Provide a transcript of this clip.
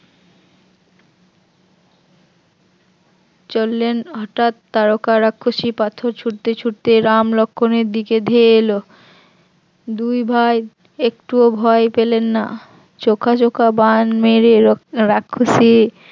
চললেন হঠাৎ তারকা রাক্ষসী পাথর ছুঁড়তে ছুঁড়তে রাম লক্ষণের দিকে ধেয়ে এল, দুই ভাই একটুও ভয় পেলেন না চোখাচোখা বান মেরে রাক্ষসীর